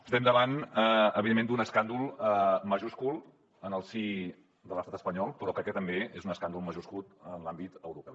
estem davant evidentment d’un escàndol majúscul en el si de l’estat espanyol però crec que també és un escàndol majúscul en l’àmbit europeu